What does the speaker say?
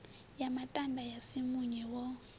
ya matanda ya simunye wo